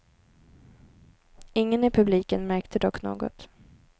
Ingen i publiken märkte dock något.